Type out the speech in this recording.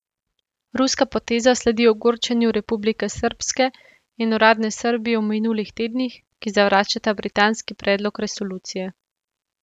Ruska poteza sledi ogorčenju Republike srbske in uradne Srbije v minulih tednih, ki zavračata britanski predlog resolucije.